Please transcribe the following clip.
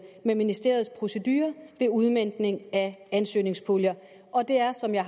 med ministeriets procedure ved udmøntning af ansøgningspuljer og det er som jeg